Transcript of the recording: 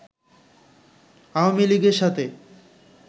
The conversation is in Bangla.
আওয়ামী লীগের সাথে